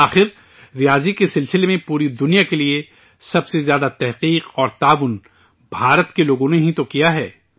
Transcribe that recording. آخر، ریاضی کو لے کر پوری دنیا کے لیے سب سے زیادہ تحقیق اور تعاون ہندوستان کے لوگوں نے ہی تو دیا ہے